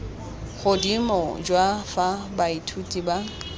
godimo jwa fa baithuti ba